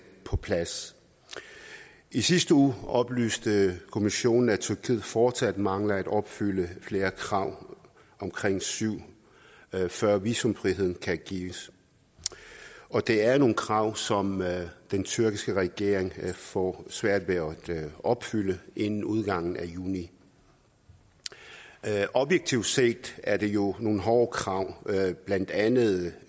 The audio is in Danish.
på plads i sidste uge oplyste kommissionen at tyrkiet fortsat mangler at opfylde flere krav omkring syv før visumfriheden kan gives og det er nogle krav som den tyrkiske regering får svært ved at opfylde inden udgangen af juni objektivt set er det jo nogle hårde krav blandt andet